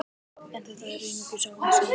En þetta eru einungis ágiskanir.